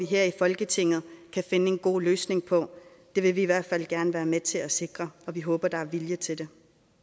her i folketinget kan finde en god løsning på det vil vi i hvert fald gerne være med til at sikre og vi håber at der er vilje til det